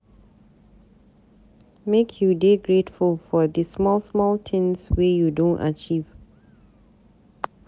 Make you dey grateful for di small small tins wey you don achieve.